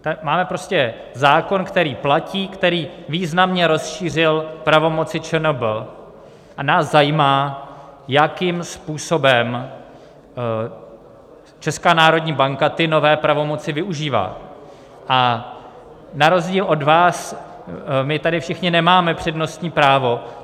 Máme prostě zákon, který platí, který významně rozšířil pravomoci ČNB, a nás zajímá, jakým způsobem Česká národní banka ty nové pravomoci využívá, a na rozdíl od vás my tady všichni nemáme přednostní právo.